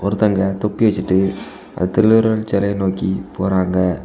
ஒருதங்க தொப்பி வச்சிட்டு திருவள்ளுவர் சிலையை நோக்கி போறாங்க.